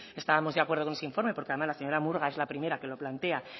estábamos de acuerdo con ese informe porque además la señora murga es la primera que lo plantea